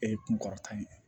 E ye kunkɔrɔta ye